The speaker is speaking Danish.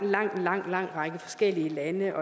lang lang lang række forskellige lande